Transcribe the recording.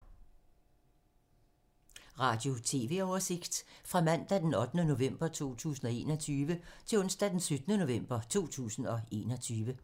Radio/TV oversigt fra mandag d. 8. november 2021 til onsdag d. 17. november 2021